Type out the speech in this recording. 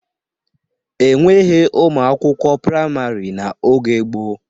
E nweghi ụmụ akwụkwọ praịmarị n'oge gboo.